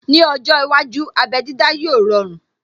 Ní ọjọ́ iwájú, abé dídá yóò rọrun